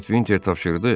Lord Vinter tapşırdı.